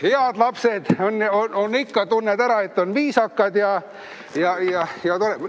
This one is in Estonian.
Head lapsed on, ikka tunned ära, nii viisakad ja toredad!